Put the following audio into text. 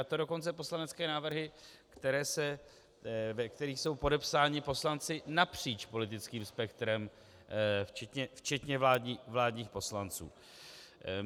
A to dokonce poslanecké návrhy, ve kterých jsou podepsáni poslanci napříč politickým spektrem, včetně vládních poslanců.